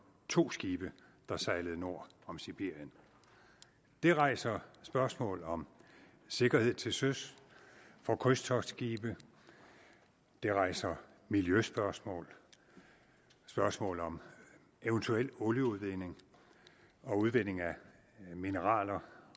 to skibe der sejlede nord om sibirien det rejser spørgsmål om sikkerhed til søs for krydstogtskibe det rejser miljøspørgsmål og spørgsmål om eventuel olieudledning og udvinding af mineraler